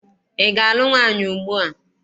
Ị ga- alụ nwaanyị ugbua?